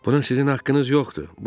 Buna sizin haqqınız yoxdur.